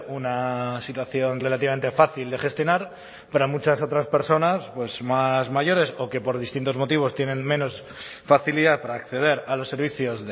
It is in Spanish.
una situación relativamente fácil de gestionar para muchas otras personas más mayores o que por distintos motivos tienen menos facilidad para acceder a los servicios